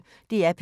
DR P1